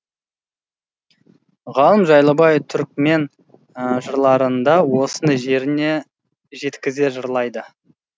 ғалым жайлыбай түрікмен жырларында осыны жеріне жеткізе жырлайды